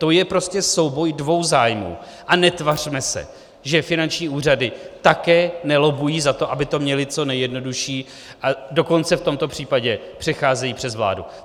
To je prostě souboj dvou zájmů a netvařme se, že finanční úřady také nelobbují za to, aby to měly co nejjednodušší, a dokonce v tomto případě přecházejí přes vládu.